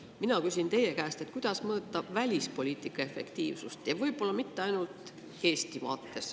Mina küsin teie käest, kuidas mõõta välispoliitika efektiivsust, ja mitte ainult Eesti vaates.